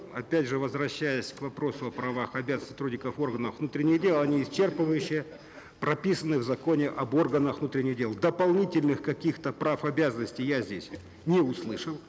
опять же возвращаясь к вопросу о правах и обязанностях сотрудников органов внутренних дел они исчерпывающе прописаны в законе об органах внутренних дел дополнительных каких то прав обязанностей я здесь не услышал